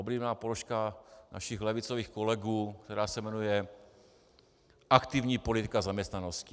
Oblíbená položka našich levicových kolegů, která se jmenuje aktivní politika zaměstnanosti.